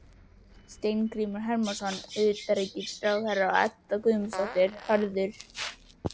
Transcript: Steingrímur Hermannsson utanríkisráðherra og Edda Guðmundsdóttir, Hörður